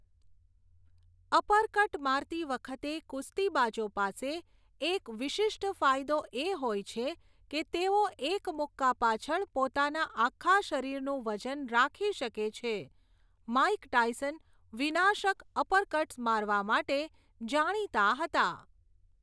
Uppercut મારતી વખતે કુસ્તીબાજો પાસે એક વિશિષ્ટ ફાયદો એ હોય છે કે તેઓ એક મુક્કા પાછળ પોતાના આખા શરીરનું વજન રાખી શકે છે, માઇક ટાયસન વિનાશક અપરકટ્સ મારવા માટે જાણીતા હતા.